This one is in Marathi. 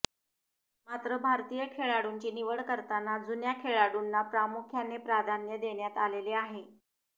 मात्र भारतीय खेळाडूंची निवड करताना जुन्या खेळाडूंना प्रामुख्याने प्राधान्य देण्यात आलेले आहे